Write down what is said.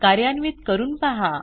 कार्यान्वित करून पहा